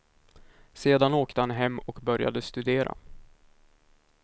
Sedan åkte han hem och började studera.